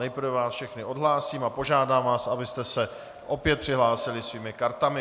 Nejprve vás všechny odhlásím a požádám vás, abyste se opět přihlásili svými kartami.